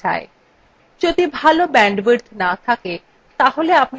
যদি ভাল bandwidth না থাকে তাহলে আপনি ভিডিওটি download করে দেখতে পারেন